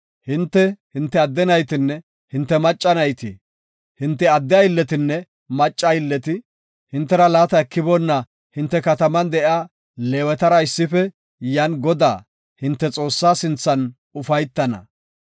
Hinte, hinte adde naytinne hinte macca nayti, hinte adde aylletinne macca aylleti hintera laata ekiboonna hinte kataman de7iya Leewetara issife yan Godaa, hinte Xoossaa sinthan ufaytana.